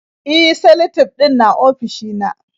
E, salatif ɗin na ofishina.